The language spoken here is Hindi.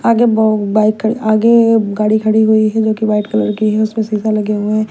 आगे बहुत बाइक खड़ी आगे गाड़ी खड़ी हुई है जो कि व्हाइट कलर की है उसमें सीसा लगे हुए हैं।